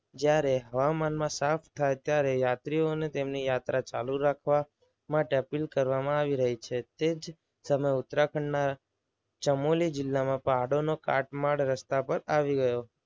જ્યારે હવામાનમાં સાફ થાય ત્યારે યાત્રીઓને તેમની યાત્રા ચાલુ રાખવા માટે અપીલ કરવામાં આવી છે. તે જ સમયે ઉતરાખંડના ચમોલી જિલ્લામાં પહાડો કાટ માળ રસ્તા પર આવી ગયો.